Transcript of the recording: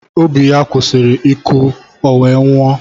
Obi ya kwụsịrị ịkụ ọ wee nwụọ